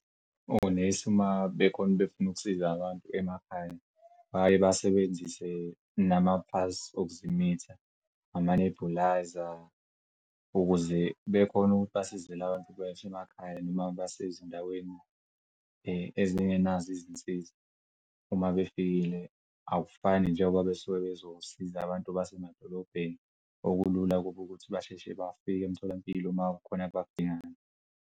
Onesi uma bekhona befuna ukusiza abantu emakhaya baye basebenzise namaphasi okuzimitha nama nebhulayza ukuze bekhon'ukuthi basize abantu basemakhaya noma basezindaweni ezingenazo izinsiza uma befikile akufani njengoba besuke bezosiza abantu basemadolobheni. Okulula kuba ukuthi basheshe bafike emtholampilo uma kukhon'abakudingayo.